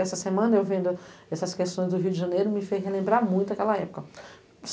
Essa semana, vendo essas questões do Rio de Janeiro, me fez relembrar muito aquela época.